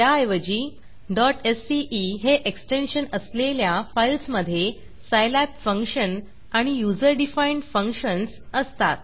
त्याऐवजी sce हे extension असलेल्या फाईल्समधे सायलॅब फंक्शन आणि युजर डिफाईन्ड फंक्शन्स असतात